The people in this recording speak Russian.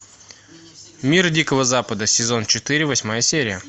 мир дикого запада сезон четыре восьмая серия